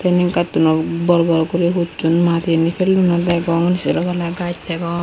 yeni gattuno bor bor guri hucchon madiani pellonde degong sero palla gajch degong.